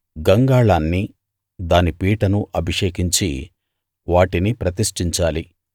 గంగాళాన్ని దాని పీటను అభిషేకించి వాటిని ప్రతిష్ఠించాలి